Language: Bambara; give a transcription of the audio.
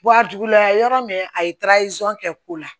a duguma yɔrɔ min a ye kɛ ko la